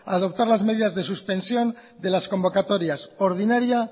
a adoptar las medidas de suspensión de las convocatorios ordinaria